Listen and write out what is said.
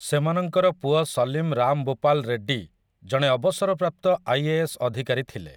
ସେମାନଙ୍କର ପୁଅ ସୀଲମ ରାମ ବୁପାଲ ରେଡ୍ଡୀ ଜଣେ ଅବସରପ୍ରାପ୍ତ ଆଇଏଏସ୍ ଅଧିକାରୀ ଥିଲେ ।